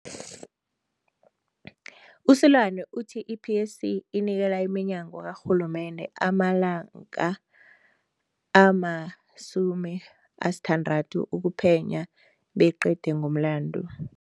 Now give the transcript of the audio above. U-Seloane uthi i-PSC inikela iminyango karhulumende amalanga ama-60 ukuphenya beyiqede ngomlandu.